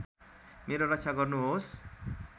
मेरो रक्षा गर्नुहोस्